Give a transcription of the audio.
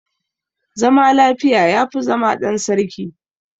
Zama lafiya ya fi zama ɗan sarki.